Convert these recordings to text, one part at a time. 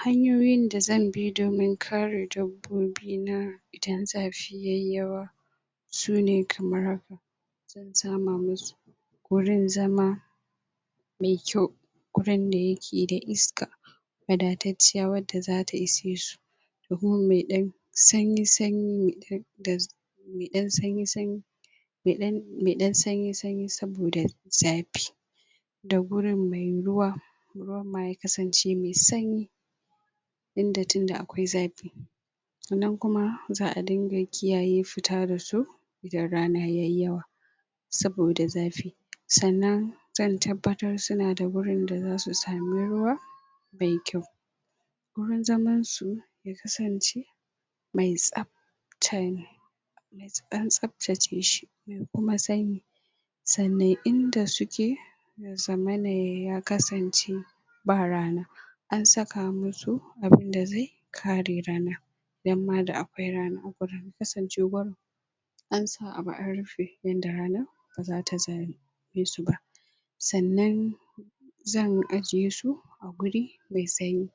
hayoyin da zanbi domin kare dabbobina idan zafi yayi yawa sune kamar haka sama musu gurin zama mai kyau gurin da yake da iska wadatacceya wada zata ishe su gu ma ɗan mai ɗan sanyi sanyi mai dan sanyi sanyi mai dan mai dan sanyi sanyi saboda zafi da gurin mai ruwa ruwan ma ya kasance mai sanyi inda tuda akwai zafi sannan kuma za'a dinga kiyaye fita da su idan rana yayi yawa saboda zafi sannan zan tabbatar suna d gurin da zasu samu ruwa mai kyau wurin zaman su ya kasance mai tsabtan su ɗan tsabtace shi da kum sanyi sannan inda suke ya zamana ya kasance ba rana an saka musu abun dazai kare rana idan ma da akwai rana a gurin ya kasance gurin an sa abu anrufe yanda rana bazata same su ba sannan zan ajiye su a guri mai sanyi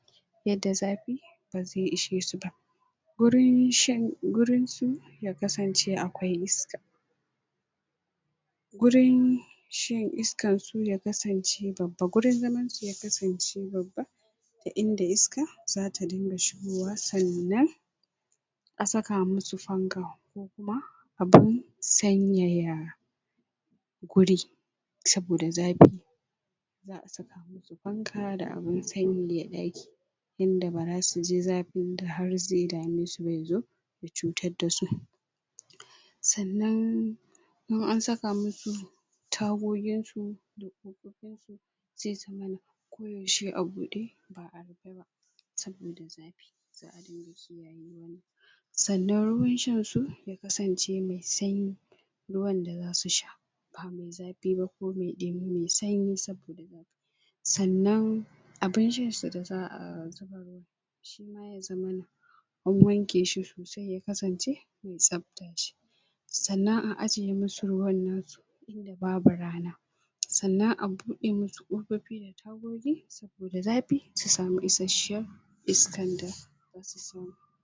yadda zafi bazai ishe su ba gurin shan gurin su ya kasance akwai iska gurin shan iskan shi ya kasance babba, gurin zaman su ya kasance babba ta inda iska data rinƙa shigowa sannan asaka musu fanka ko kuma abun sanyaya guri saboda zafi za'a saka musu fanka da abun sanyaya daƙi yanda bara suji zafin da har zai dame su ya zo ya cutar dasu sannan in an saks musu tagogin su da ƙofofin su zai zaman a ko da yaushe abuɗe ba'a rufeba saboda zafi za'a dinga kiyaye wa sannan ruwan shan su ya kasance mai sanyi ruwan da zasu sha ba mai zafi ba ko mai dumi ,mai sanyi saboda zafi sannan abun shan su da za'a zuba ruwan shima ya zamana an wanke shi sosai ya kasance mai tsabtace sannan a ajiye musu ruwan nasu inda babu rana sannan abuɗe musu kofofi tagogi sabo da zafi, su sami isasshiyar iskan da za su zauna.